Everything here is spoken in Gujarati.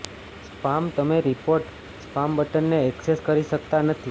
સ્પામ તમે રિપોર્ટ સ્પામ બટનને ઍક્સેસ કરી શકતા નથી